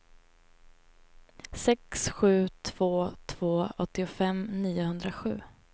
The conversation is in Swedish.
sex sju två två åttiofem niohundrasju